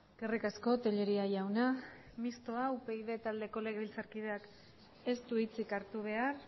eskerrik asko tellería jauna mistoa upyd taldeko legebiltzarkideak ez du hitzik hartu behar